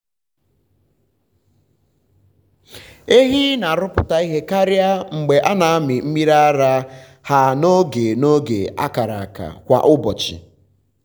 um ehi na-arụpụta ihe karịa mgbe a na-amị mmiri ara ha n’oge n’oge a kara aka um kwa ụbọchị.